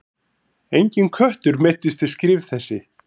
Enginn köttur meiddist við skrif þessi.